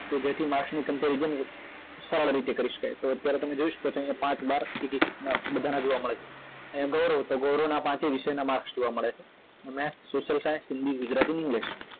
તો જેથી માર્કસ ની comparison સરળ રીતે કરી શકાય તો અત્યારે તમે અહી જોય શકો છો અહિયાં પાંચ બાર વિષયના બધાના જોવા મળે છે અહિયાં ગૌરવ તો ગૌરવ ના બધા વિષયના માર્કસ જોવા મળે છે અને social science Hindi Gujarati english